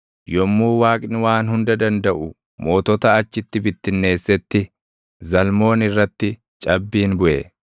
Yommuu Waaqni Waan Hunda Dandaʼu mootota achitti bittinneessetti, // Zalmoon irratti cabbiin buʼe.